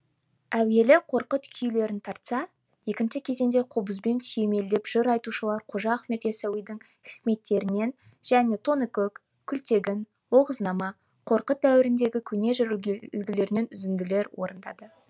әуелі қорқыт күйлерін тартса екінші кезеңде қобызбен сүйемелдеп жыр айтушылар қожа ахмет ясауидің хикметтерінен және тоныкөк күлтегін оғызнама қорқыт дәуіріндегі көне жыр үлгілерінен үзінділер орындады